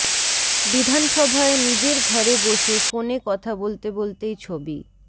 বিধানসভায় নিজের ঘরে বসে ফোনে কথা বলতে বলতেই ছবি